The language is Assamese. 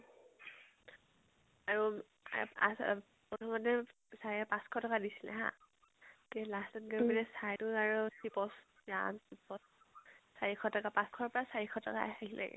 আৰু প্ৰথমতে sir এ পাঁচ শ টকা দিছিলে হা, তে last ত গৈ পিনে sir এতো আৰু চিপছ, ৰাম চিপছ। চাৰি শ টকা পাঁচ শ ৰ পৰা চাৰি শ টকাত আহিলগে।